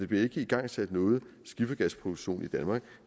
bliver igangsat nogen skiffergasproduktion i danmark